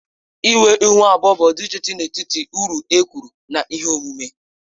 Ịnwe Ịhu abụọ bụ ọdịiche dị n'etiti uru e kwuru na ihe omume